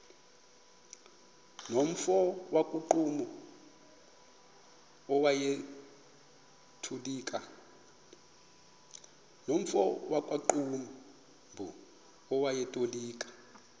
nomfo wakuqumbu owayetolika